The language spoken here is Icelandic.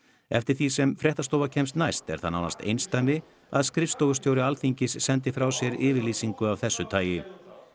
eftir því sem fréttastofa kemst næst er það nánast einsdæmi að skrifstofustjóri Alþingis sendi frá sér yfirlýsingu af þessu tagi